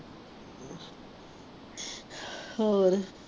ਹੋਰ